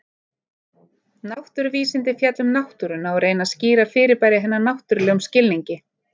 Náttúruvísindi fjalla um náttúruna og reyna að skýra fyrirbæri hennar náttúrlegum skilningi.